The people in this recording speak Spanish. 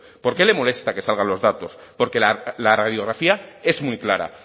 por qué le molesta que salgan los datos porque la radiografía es muy clara